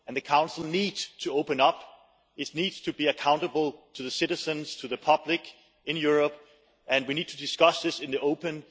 The Council needs to open up, it needs to be accountable to the citizens, to the public in Europe and we need to discuss this in the open.